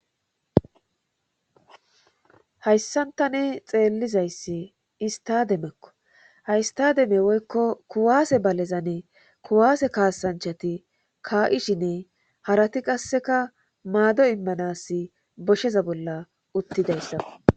hayssantane xeellizayssi istademekko haystademe woykko kuwaase balezane kuwaase kaasanchati kaa'ishinne harati qasseka maado immanas bosheza bolla uttidayssaa